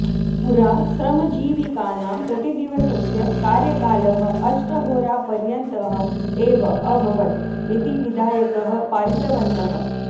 पुरा श्रमजीवीकानाम् प्रतिदिवसस्य कार्यकालः अष्टहोरापर्यन्तः एव अभवत् इति विधायकः पारितवन्तः